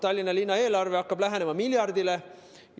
Tallinna linna eelarve hakkab lähenema miljardile.